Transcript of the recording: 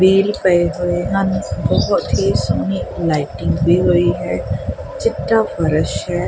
Wheel ਪਏ ਹੋਏ ਹਨ ਬਹੁਤ ਹੀ ਸੋਹਣੀ ਲਾਈਟਿੰਗ ਹੋਈ ਹੈ ਚਿੱਟਾ ਫਰਸ਼ ਹੈ।